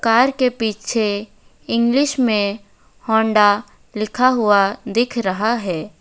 Car के पीछे English मे होंडा लिखा हुआ दिख रहा है।